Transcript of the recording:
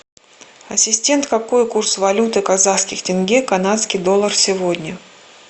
ассистент какой курс валюты казахских тенге канадский доллар сегодня